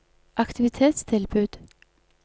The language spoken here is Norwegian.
aktivitetstilbud